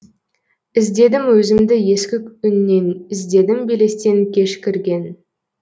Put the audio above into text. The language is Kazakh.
іздедім өзімді ескі үннен іздедім белестен кеш кірген